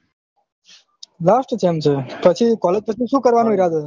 last sem છે પછી collage પછી સુ કરે ઈરાદો છે